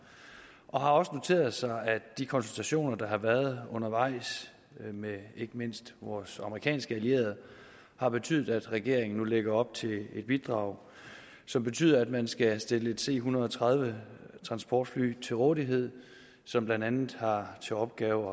og har også noteret os at de konsultationer der har været undervejs med ikke mindst vores amerikanske allierede har betydet at regeringen nu lægger op til et bidrag som betyder at man skal stille et c en hundrede og tredive transportfly til rådighed som blandt andet har til opgave